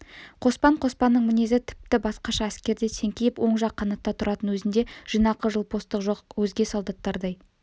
қоспан қоспанның мінезі тіпті басқаша әскерде теңкиіп оң жақ қанатта тұратын өзінде жинақы жылпостық жоқ өзге солдаттардай